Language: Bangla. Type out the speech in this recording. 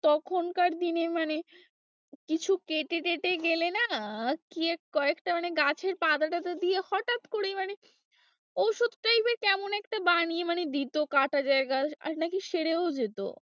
তখনকার দিনে মানে কিছু কেটে টেটে গেলে না কয়েকটা মানে গাছের পাতা টাতা দিয়ে হঠাৎ করেই মানে ওষুধ type এর কেমন একটা বানিয়ে মানে দিতো কাটা জায়গায় আর নাকি সেরেও যেত।